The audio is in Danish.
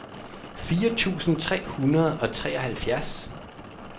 fire tusind tre hundrede og treoghalvfjerds